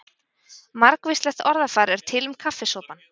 Margvíslegt orðafar er til um kaffisopann.